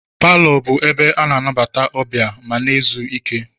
Paló bụ ebe ana anabata ọbịa, ma na ézú ike.